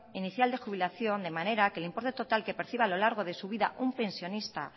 inicial de jubilación de manera que el importe total que perciba a lo largo de su vida un pensionista